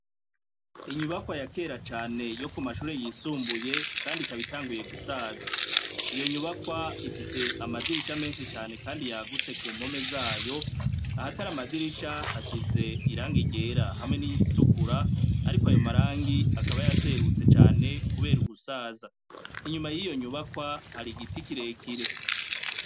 Inyubakwa yakera cane yo ku mashure yisumbuye, kandi ikaba itanguye gusaza, iyo nyubakwa ifise amadirisha menshi cane yagutse kumpome zayo, ahatari amadirisha hasize irangi ryera hamwe niritukura, ariko ayo marangi akaba yaraserutse cane kuber'ugusaza, inyuma yiyo nyubakwa har'igiti kirekire.